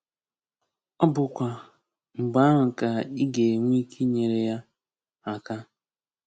Ọ bụkwa mgbe ahụ ka ị ga-enwe ike inyere ya aka.